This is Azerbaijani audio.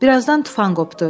Bir azdan tufan qopdu.